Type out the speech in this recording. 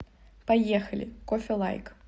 поехали кофе лайк